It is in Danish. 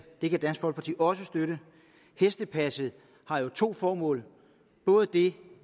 og det kan dansk folkeparti også støtte hestepasset har jo to formål og det